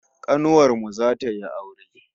Kanuwar mu zata yi aure